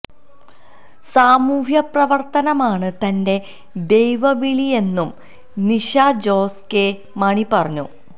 സാമൂഹ്യപ്രവര്ത്തനമാണ് തന്റെ ദൈവവിളിയെന്നും നിഷ ജോസ് കെ മാണി പറഞ്ഞു